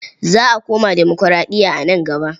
Za a koma demokuraɗiya a nan gaba.